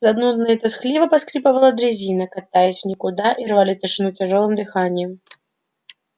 занудно и тоскливо поскрипывала дрезина катясь в никуда и рвали тишину тяжёлым дыханием